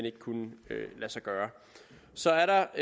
ikke kunne lade sig gøre så er